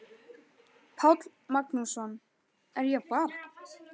Páll Magnússon: Er ég barn?